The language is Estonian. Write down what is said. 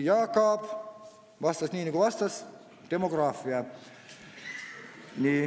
Jaak Aab vastas nii, nagu vastas: "Demograafia.